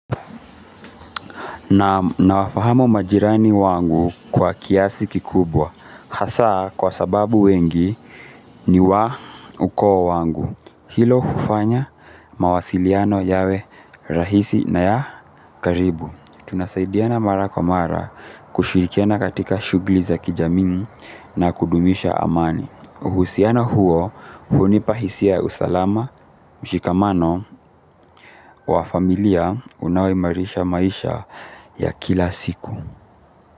Nawafahamu majirani wangu kwa kiasi kikubwa, hasa kwa sababu wengi ni wa ukoo wangu. Hilo ufanya mawasiliano yawe rahisi na ya karibu. Tunasaidiana mara kwa mara kushirikiana katika shughuli za kijamii na kudumisha amani. Uhusiana huo unipa hisia ya usalama mshikamano wa familia unaoimarisha maisha ya kila siku.